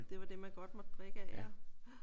Det var det man godt måtte drikke af ja